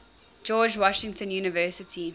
george washington university